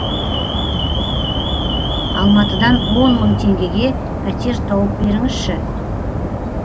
алматыдан он мың теңгеге пәтер тауып беріңізші